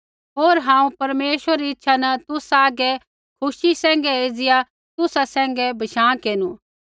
होर हांऊँ परमेश्वरा री इच्छा न तुसा हागै खुशी सैंघै एज़िया तुसा सैंघै बशाँ केरनु